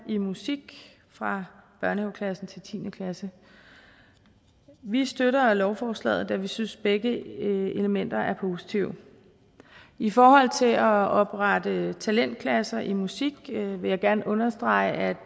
i musik fra børnehaveklassen til tiende klasse vi støtter lovforslaget da vi synes at begge elementer er positive i forhold til at oprette talentklasser i musik vil jeg gerne understrege at